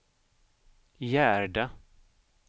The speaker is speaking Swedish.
Gerda